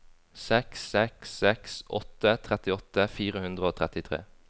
seks seks seks åtte trettiåtte fire hundre og trettitre